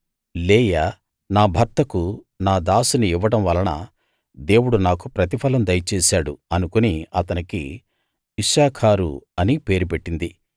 లేయా నా భర్తకు నా దాసిని ఇవ్వడం వలన దేవుడు నాకు ప్రతిఫలం దయచేశాడు అనుకుని అతనికి ఇశ్శాఖారు అని పేరు పెట్టింది